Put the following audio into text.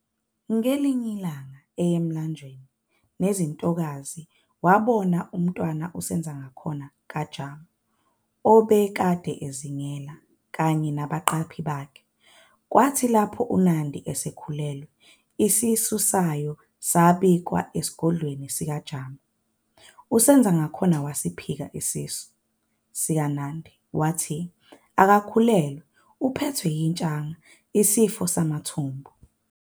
Ngelinye ilanga eye emlanjeni nezinye izintokazi wabonwa umntwana uSenzangakhona kaJama obekade ezingela kanye nabaqaphi bakhe. Kwathi lapho uNandi esekhulelwe, isisu sayo bikwa esigodlweni sika Jama. uSenzangakhona wasiphika isisu sikaNandi, wathi akakhulelwe uphethwe "itshaka" isifo samathumbu.